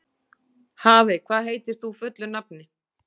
Hafey, hvað heitir þú fullu nafni?